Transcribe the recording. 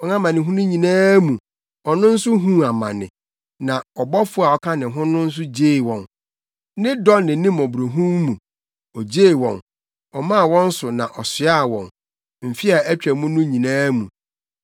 Wɔn amanehunu nyinaa mu, ɔno nso huu amane, na ɔbɔfo a ɔka ne ho no nso gyee wɔn. Ne dɔ ne ne mmɔborɔhunu mu, ogyee wɔn; ɔmaa wɔn so na ɔsoaa wɔn mfe a atwa mu no nyinaa mu.